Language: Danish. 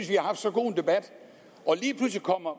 vi har haft så god en debat og lige pludselig kommer